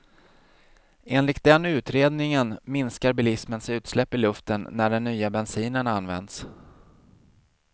Enligt den utredningen minskar bilismens utsläpp i luften när den nya bensinen används.